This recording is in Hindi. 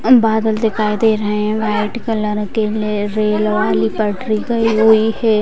बादल दिखाई दे रहे वाईट कलर के रेल वाली पटरी गई हुई है ।